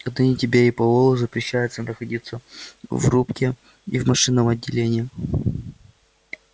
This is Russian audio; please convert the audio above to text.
отныне тебе и пауэллу запрещается находиться в рубке и в машинном отделении